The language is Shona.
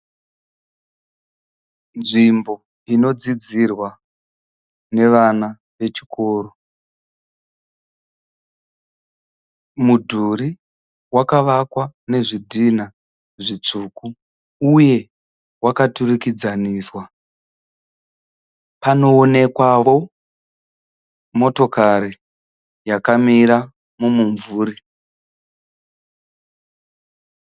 Nzvimbo inodzidzirwa nevana vechikoro. Mudhuri wakavakwa nezvidhina zvitsvuku uye wakaturikidzaniswa. Panoonekwao motokari yakamira mumvuri.